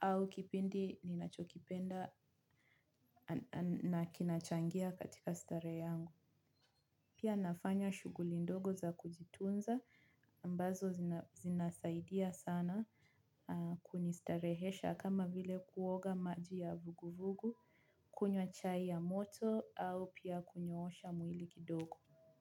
au kipindi ninachokipenda na kinachangia katika staree yangu. Pia nafanya shuguli ndogo za kujitunza ambazo zinasaidia sana kunistarehesha kama vile kuoga maji ya vuguvugu, kunywa chai ya moto au pia kunyoosha mwili kidogo.